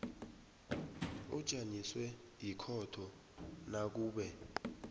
ujanyiswe yikhotho nakube